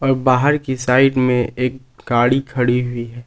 बाहर की साइड में एक गाड़ी खड़ी हुई है।